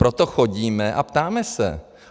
Proto chodíme a ptáme se.